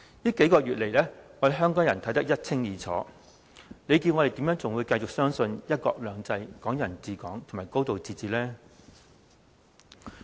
這數個月來，香港人看得一清二楚，試問我們如何繼續相信"一國兩制、港人治港、高度自治"？